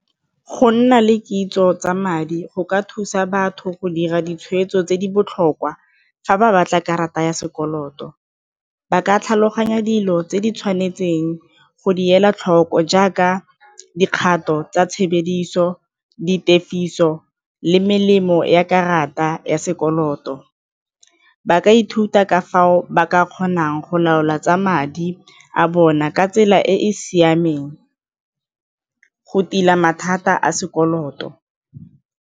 Go nna le kitso tsa madi go ka thusa batho go dira ditshweetso tse di botlhokwa fa ba batla karata ya sekoloto ba ka tlhaloganya dilo tse di tshwanetseng go di ela tlhoko jaaka dikgato tsa tshebediso, di tefiso le melemo ya karata ya sekoloto. Ba ka ithuta ka fao ba ka kgonang go laola tsa madi a bona ka tsela e e siameng go tila mathata a sekoloto.